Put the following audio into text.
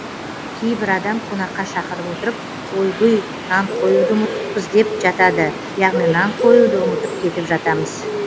кейбір адам қонаққа шақырып отырып ойбұй нан қоюды ұмытыппыз деп жатады яғни нан қоюды ұмытып кетіп жатамыз